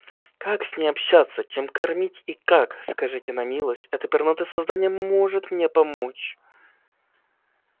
как с ней общаться чем кормить и как скажите на милость это пернатое создание может мне помочь